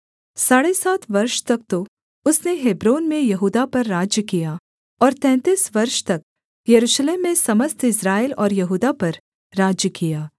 साढ़े सात वर्ष तक तो उसने हेब्रोन में यहूदा पर राज्य किया और तैंतीस वर्ष तक यरूशलेम में समस्त इस्राएल और यहूदा पर राज्य किया